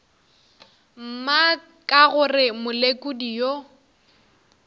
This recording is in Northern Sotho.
mma ka gore molekodi yo